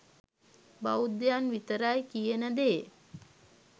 බෞද්ධයන් විතරයි කියන දේ